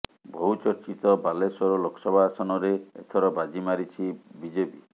ବହୁ ଚର୍ଚ୍ଚିତ ବାଲେଶ୍ୱର ଲୋକସଭା ଆସନରେ ଏଥର ବାଜି ମାରିଛି ବିଜେପି